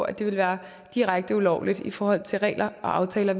at det ville være direkte ulovligt i forhold til regler og aftaler